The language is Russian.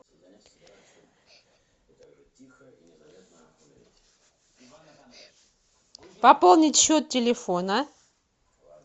пополнить счет телефона